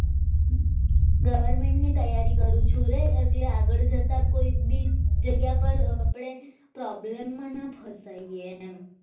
government ની તૈયારી કરું છું એટલે આગળ જતાં કોઈ ભી જગ્યા પર આપણે problem માં ના ફસાઈ એમ